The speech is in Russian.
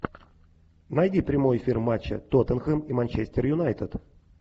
найди прямой эфир матча тоттенхэм и манчестер юнайтед